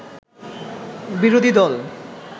বিরোধী দল